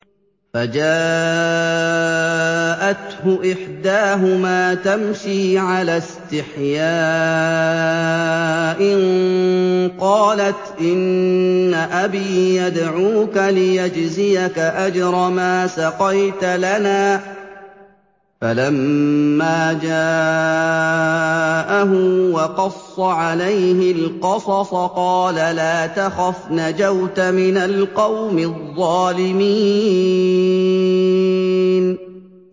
فَجَاءَتْهُ إِحْدَاهُمَا تَمْشِي عَلَى اسْتِحْيَاءٍ قَالَتْ إِنَّ أَبِي يَدْعُوكَ لِيَجْزِيَكَ أَجْرَ مَا سَقَيْتَ لَنَا ۚ فَلَمَّا جَاءَهُ وَقَصَّ عَلَيْهِ الْقَصَصَ قَالَ لَا تَخَفْ ۖ نَجَوْتَ مِنَ الْقَوْمِ الظَّالِمِينَ